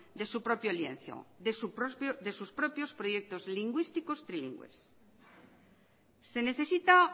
de su propio lienzo de sus propios proyectos lingüísticos trilingües se necesita